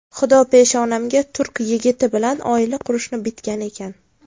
Xudo peshonamga turk yigiti bilan oila qurishni bitgan ekan.